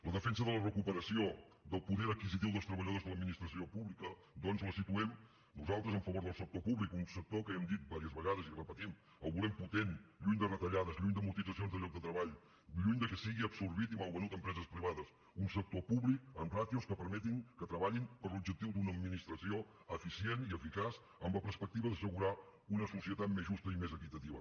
la defensa de la recuperació del poder adquisitiu dels treballadors de l’administració pública doncs la situem nosaltres a favor del sector públic un sector que ja hem dit unes quantes vegades i ho repetim el volem potent lluny de retallades lluny d’amortitzacions de llocs de treball lluny que sigui absorbit i malvenut a empreses privades un sector públic amb ràtios que permetin que treballin per l’objectiu d’una administració eficient i eficaç amb la perspectiva d’assegurar una societat més justa i més equitativa